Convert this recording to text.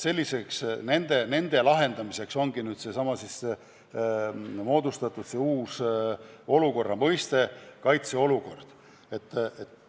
Nende lahendamiseks ongi nüüd kasutusele võetud see uus mõiste: kaitseolukord.